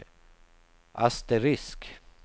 asterisk